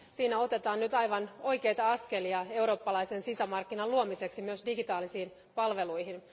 Siinä otetaan nyt aivan oikeita askelia eurooppalaisen sisämarkkinan luomiseksi myös digitaalisiin palveluihin.